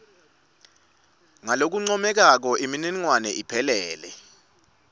ngalokuncomekako imininingwane iphelele